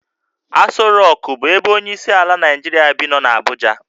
Asọ Rokụ bụ ebe onyeisiala Naijiria bi nọ n'Abuja